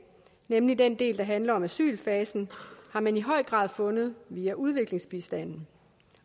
nemlig den del der handler om asylfasen har man i høj grad fundet via udviklingsbistanden